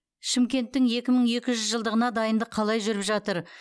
шымкенттің екі мың екі жүз жылдығына дайындық қалай жүріп жатыр